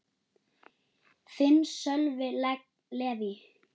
Þinn, Sölvi Leví.